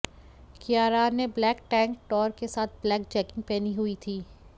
कियारान ने black tank top के साथ ब्लैक जैगिंग पहनी हुई है